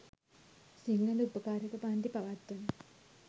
සිංහල උපකාරක පංති පවත්වන